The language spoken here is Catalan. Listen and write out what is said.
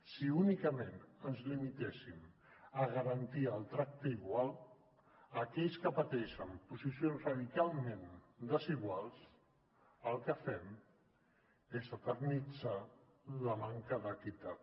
si únicament ens limitéssim a garantir el tracte igual a aquells que pateixen posicions radicalment desiguals el que fem és eternitzar la manca d’equitat